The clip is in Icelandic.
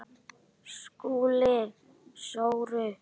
SKÚLI: Sóru?